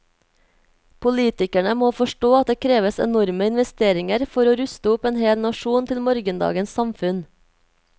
Politikerne må forstå at det kreves enorme investeringer for å ruste opp en hel nasjon til morgendagens samfunn.